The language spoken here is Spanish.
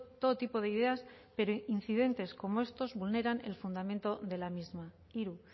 todo tipo de ideas pero incidentes como estos vulneran el fundamento de la misma hiru